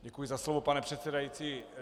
Děkuji za slovo, pane předsedající.